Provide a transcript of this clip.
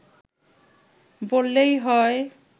বললেই হয়